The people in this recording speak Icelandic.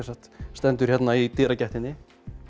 stendur hérna í dyragættinni